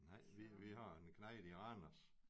Nej vi vi har en knejt i Randers